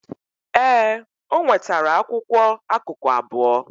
Ee, o nwetara akwụkwọ akụkụ abụọ.